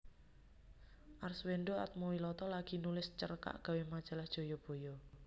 Arswendo Atmowiloto lagi nulis cerkak gawe majalah Jayabaya